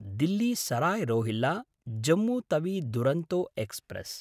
Delhi Sarai रोहिल्ला–जम्मु Tawi Duronto express